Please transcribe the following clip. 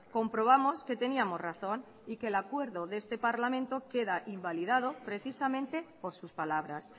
comprobamos que teníamos razón y que el acuerdo de este parlamento queda invalidado precisamente por sus palabras